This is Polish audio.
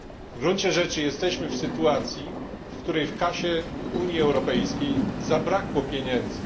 W gruncie rzeczy jesteśmy w sytuacji, w której w kasie Unii Europejskiej zabrakło pieniędzy.